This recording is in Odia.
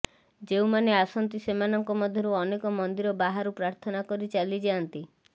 ଯେଉଁମାନେ ଆସନ୍ତି ସେମାନଙ୍କ ମଧ୍ୟରୁ ଅନେକ ମନ୍ଦିର ବାହାରୁ ପ୍ରାର୍ଥନା କରି ଚାଲି ଯାଆନ୍ତି